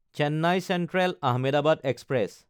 Chennai চেন্ট্ৰেল–আহমেদাবাদ express